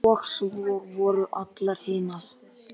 Nadía, hvað er mikið eftir af niðurteljaranum?